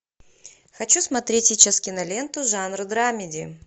хочу смотреть сейчас киноленту жанра драмеди